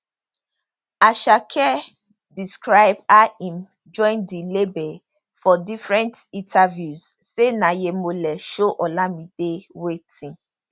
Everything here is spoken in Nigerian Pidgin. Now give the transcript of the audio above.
asake describe how im join di label for different interviews say na yhemoleee show olamide wetin